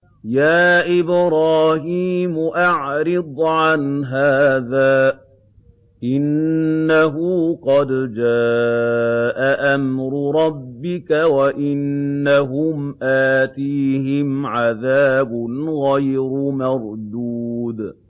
يَا إِبْرَاهِيمُ أَعْرِضْ عَنْ هَٰذَا ۖ إِنَّهُ قَدْ جَاءَ أَمْرُ رَبِّكَ ۖ وَإِنَّهُمْ آتِيهِمْ عَذَابٌ غَيْرُ مَرْدُودٍ